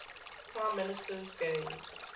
prime ministers gained